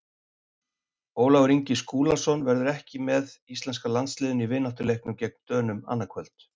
Ólafur Ingi Skúlason verður ekki með íslenska landsliðinu í vináttuleiknum gegn Dönum annað kvöld.